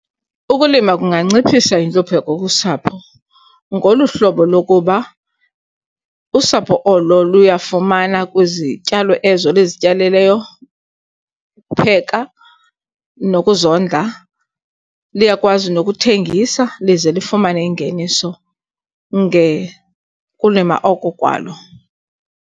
Ukulima kunganciphisa intlupheko kusapho ngolu hlobo lokuba usapho olo luyafumana kwizityalo ezo lizityalileyo, ukupheka, nokuzondla. Liyakwazi nokuthengisa lize lifumane ingeniso ngekulima oko kwalo.